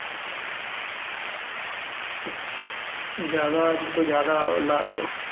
ਜ਼ਿਆਦਾ ਤੋਂ ਜ਼ਿਆਦਾ ਲਾ ਉਹ